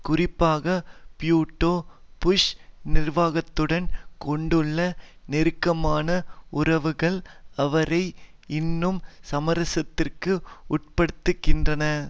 குறிப்பாக பூட்டோ புஷ் நிர்வாகத்துடன் கொண்டுள்ள நெருக்கமான உறவுகள் அவரை இன்னும் சமரசத்திற்கு உட்படுத்துகின்றன